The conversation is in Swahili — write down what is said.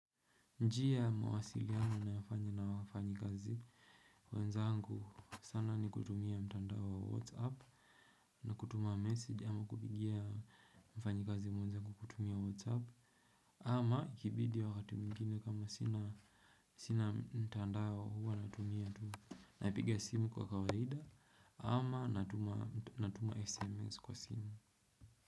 Njia ya mawasiliano ninayofanya na wafanyikazi wenzangu sana ni kutumia mtandao wa Whatsapp na kutuma message ama kupigia mfanyikazi mwenza kwa kutumia Whatsapp ama ikibidi wakati mwingine kama sina mtandao huwa natumia tu. Napiga simu kwa kawaida ama natuma natuma sms kwa simu.